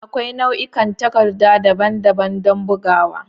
Akwai nau'ikan takarda daban-daban don bugawa.